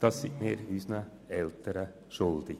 Dies sind wir unseren älteren Menschen schuldig.